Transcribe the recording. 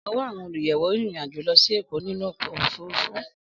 Ọ̀wọ́ àwọn olùyẹ̀wò rìnrìn àjò lọ sí Èkó nínú ọkọ̀ òfurufú.